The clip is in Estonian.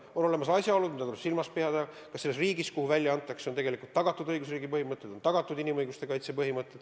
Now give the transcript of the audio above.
On olemas asjaolud, mida tuleb silmas pidada: kas selles riigis, kuhu inimene välja antakse, kehtivad õigusriigi põhimõtted, on tagatud inimõiguste kaitse.